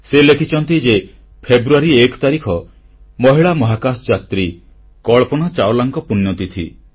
ସେ ଲେଖିଛନ୍ତି ଯେ ଫେବୃୟାରୀ 1 ତାରିଖ ମହିଳା ମହାକାଶଯାତ୍ରୀ କଳ୍ପନା ଚାଓଲାଙ୍କ ପୁଣ୍ୟତିଥି